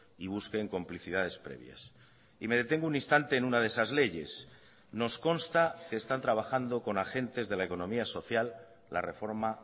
y busquen complicidades previas y me detengo un instante en una de esas leyes nos consta que están trabajando con agentes de la economía social la reforma